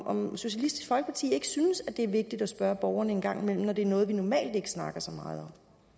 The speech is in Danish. om socialistisk folkeparti ikke synes det er vigtigt at spørge borgerne en gang imellem når det er noget vi normalt ikke snakker så meget